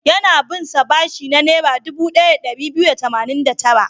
Yana bin sa bashi na Naira dubu ɗaya da ɗari biyu da tamanin da tara.